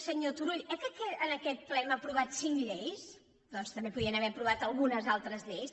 senyor turull eh que en aquest ple hem aprovat cinc lleis doncs també podien haver aprovat algunes al·tres lleis